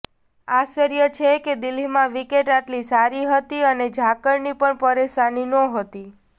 આશ્વર્ય છે કે દિલ્હીમાં વિકેટ આટલી સારી હતી અને ઝાકળની પણ પરેશાની નહોતી